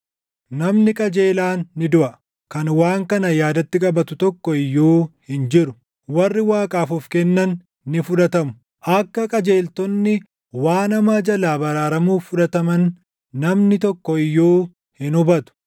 Namni qajeelaan ni duʼa; kan waan kana yaadatti qabatu tokko iyyuu hin jiru; warri Waaqaaf of kennan ni fudhatamu; akka qajeeltonni waan hamaa jalaa baraaramuuf fudhataman namni tokko iyyuu hin hubatu.